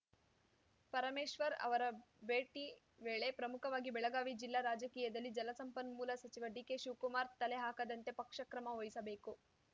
ಪರಮೇಶ್ವರ್‌ ಅವರ ಭೇಟಿ ವೇಳೆ ಪ್ರಮುಖವಾಗಿ ಬೆಳಗಾವಿ ಜಿಲ್ಲಾ ರಾಜಕೀಯದಲ್ಲಿ ಜಲಸಂಪನ್ಮೂಲ ಸಚಿವ ಡಿಕೆಶಿವಕುಮಾರ್‌ ತಲೆ ಹಾಕದಂತೆ ಪಕ್ಷ ಕ್ರಮ ವಹಿಸಬೇಕು